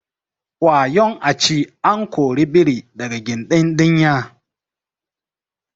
wayon a ci an kori biri daga gindin dinya